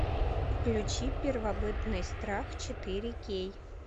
включи первобытный страх четыре кей